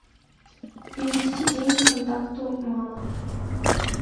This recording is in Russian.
перевести деньги контакту мама